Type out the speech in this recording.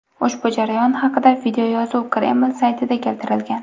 Ushbu jarayon haqida videoyozuv Kreml saytida keltirilgan.